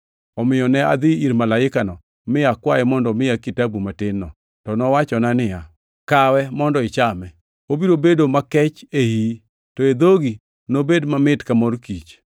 Omiyo ne adhi ir malaikano, mi akwaye mondo omiya kitabu matin-no. To nowachona niya, “Kawe, mondo ichame. Obiro bedo makech e iyi, to e dhogi nobed mamit ka mor kich.” + 10:9 \+xt Eze 3:3\+xt*